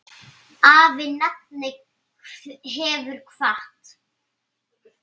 Afi nafni hefur kvatt.